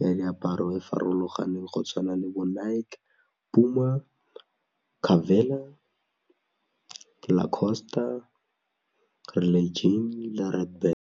ya diaparo e farologaneng go tshwana le bo Nike, Puma, Carvela, Lacoste, Relay le Redbat.